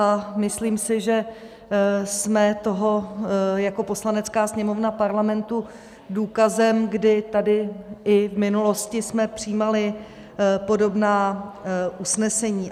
A myslím si, že jsme toho jako Poslanecká sněmovna Parlamentu důkazem, kdy tady i v minulosti jsme přijímali podobná usnesení.